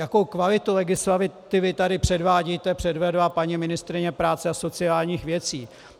Jakou kvalitu legislativy tady předvádíte, předvedla paní ministryně práce a sociálních věcí.